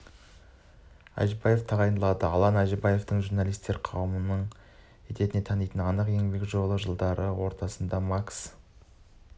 әжібаев тағайындалды алан әжібаевты журналистер қауымы етене танитыны анық еңбек жолын ол жылдардың ортасында макс